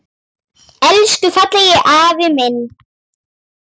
Elsku fallegi afi minn.